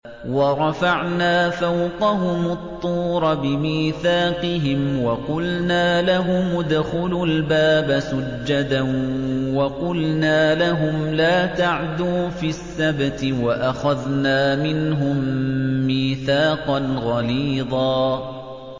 وَرَفَعْنَا فَوْقَهُمُ الطُّورَ بِمِيثَاقِهِمْ وَقُلْنَا لَهُمُ ادْخُلُوا الْبَابَ سُجَّدًا وَقُلْنَا لَهُمْ لَا تَعْدُوا فِي السَّبْتِ وَأَخَذْنَا مِنْهُم مِّيثَاقًا غَلِيظًا